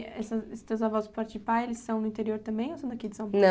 é esse esses teus avós de parte de pai, eles são no interior também ou são daqui de São Paulo?